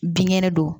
Binkɛnɛ don